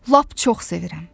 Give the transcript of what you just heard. Lap çox sevirəm.